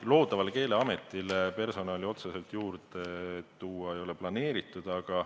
Loodavale Keeleametile personali otseselt juurde tuua ei ole planeeritud.